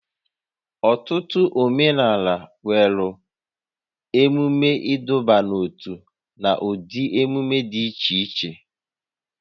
Ọtụtụ omenala nwere emume ịdọba n'ótú na ụdị omume dị iche iche